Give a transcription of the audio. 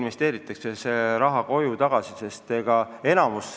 Nüüd tullakse ja tuuakse see raha koju tagasi.